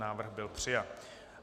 Návrh byl přijat.